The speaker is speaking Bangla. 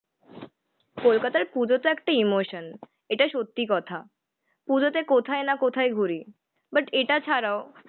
কলকাতার পুজোতো একটা ইমোশন, এটা সত্যি কথা। পুজোতে কোথায় না কোথায় ঘুরি বাট এটা ছাড়াও